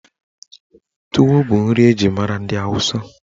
Tuwo bụ nri eji mara ndị Awụsa.